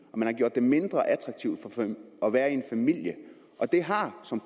og man har gjort det mindre attraktivt at være en familie og det har som